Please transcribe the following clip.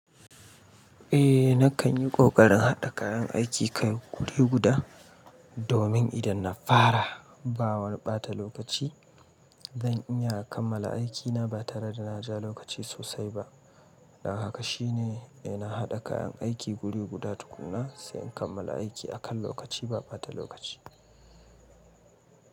Eh, na kan yi ƙoƙarin haɗa kayan aiki kai guri guda, domin idan na fara ba waniɓata lokaci, zan iya kammala aikina ba tare da na ja lokaci sosai ba. Haka shine, ina haɗa kayan aiki guri guda tukuna sai in kammala aiki a kan lokaci ba bata lokaci.